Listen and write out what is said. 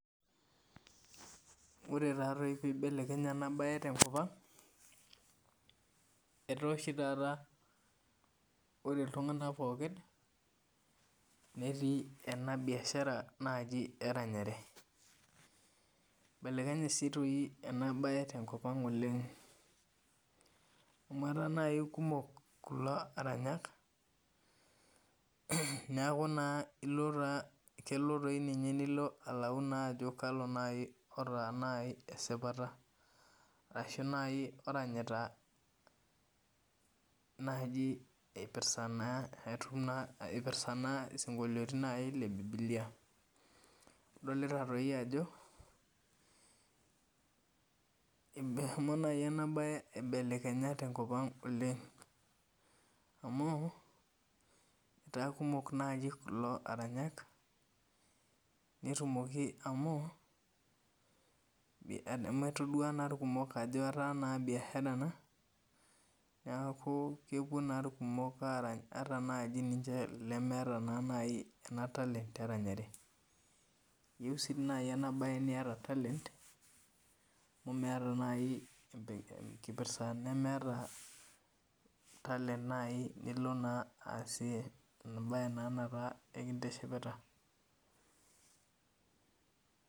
Ore taadoi peyie eibelekenye ena mbae tenkop ang etaa oshi taata ore iltung'ana pookin Neeti ena biashara eranyare eibelekenye ena mbae si doi ena mbae tenkop ang oleng amu etaa naaji kumok kulo aranyak neeku taa kelo naaji nilo alau Ajo kalo naaji otaa esipata arashu naaji oranyita naaji eipirta naaji isinkoliotin lee bibilia adolita doi ajo ehomo naaji ena mbae aibelekenya tenkop ang oleng amu etaa naaji kumok kulo aranyak netumokiamu etodua naa irkumok Ajo etaa naa biashara ena neeku kepuo naaji irkumok aranya ataa naaji elemeeta talaent eranyare eyieu sii naaji ena mbae niata talent amu meeta naaji enkipirta nemeeta talent naaji nilo naa asie embaye nikintishipita